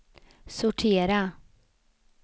sortera